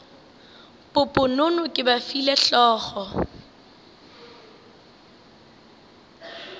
poponono ke ba file hlogo